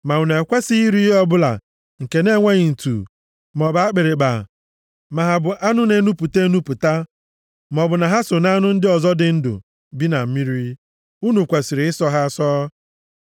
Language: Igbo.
Ma unu ekwesighị iri ihe ọbụla nke na-enweghị ntu maọbụ akpịrịkpa, ma ha bụ anụ na-enupụta enupụta, maọbụ na ha so nʼanụ ndị ọzọ dị ndụ bi na mmiri, unu kwesiri ịsọ ha asọ.